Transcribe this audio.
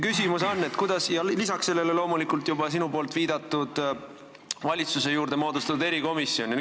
Lisaks sellele on olemas loomulikult juba sinu viidatud valitsuse juurde moodustatud erikomisjon.